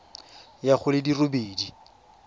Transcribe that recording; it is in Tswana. ya go di le robedi